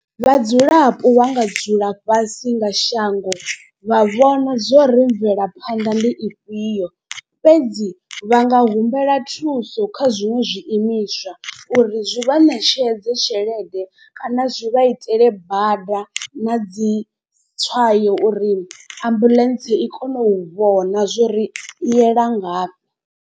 Vhadzulapo vha nga dzula fhasi nga shango vha vhona zwo ri mvelaphanḓa ndi ifhio. Fhedzi vha nga humbela thuso kha zwiṅwe zwi imiswa uri zwi vha ṋetshedze tshelede kana zwi vha itele bada na dzi tswayo uri ambuḽentse i kone u vhona zwori i yela ngafhi.